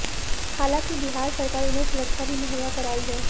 हालांकि बिहार सरकार उन्हें सुरक्षा भी मुहैया कराई है